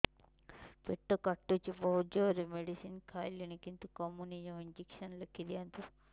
ପେଟ କାଟୁଛି ବହୁତ ଜୋରରେ ମେଡିସିନ ଖାଇଲିଣି କିନ୍ତୁ କମୁନି ଜମା ଇଂଜେକସନ ଲେଖିଦିଅନ୍ତୁ